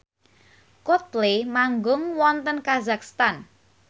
Coldplay manggung wonten kazakhstan